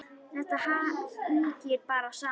Þetta hangir bara saman.